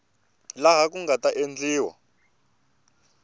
laha ku nga ta endliwa